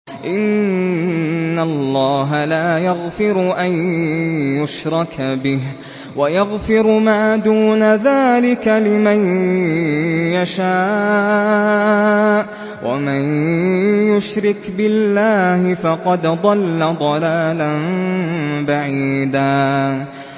إِنَّ اللَّهَ لَا يَغْفِرُ أَن يُشْرَكَ بِهِ وَيَغْفِرُ مَا دُونَ ذَٰلِكَ لِمَن يَشَاءُ ۚ وَمَن يُشْرِكْ بِاللَّهِ فَقَدْ ضَلَّ ضَلَالًا بَعِيدًا